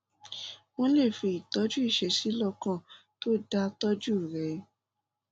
wọn lè fi ìtọjú ìṣesí lọkàn tó dáa tọjú rẹ